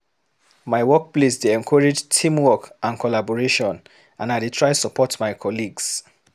My workplace dey encourage teamwork and collaboration, and I dey try to support my colleagues.